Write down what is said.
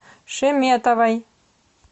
шеметовой